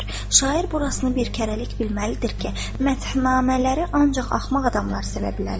Şair burasını bir kərəlik bilməlidir ki, məthnamələri ancaq axmaq adamlar sevə bilərlər.